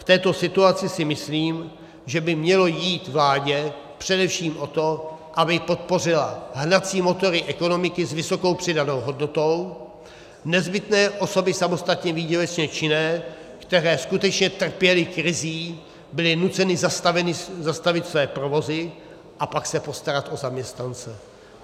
V této situaci si myslím, že by mělo jít vládě především o to, aby podpořila hnací motory ekonomiky s vysokou přidanou hodnotou, nezbytné osoby samostatně výdělečně činné, které skutečně trpěly krizí, byly nuceny zastavit své provozy a pak se postarat o zaměstnance.